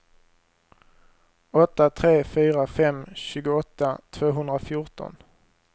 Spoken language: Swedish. åtta tre fyra fem tjugoåtta tvåhundrafjorton